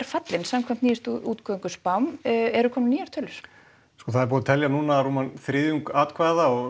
fallin samkvæmt eru komnar nýjar tölur það er búið að telja núna um þriðjung atkvæða og